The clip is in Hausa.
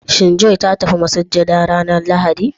Shin "joy " ta tafi masujada ranar Lahadi?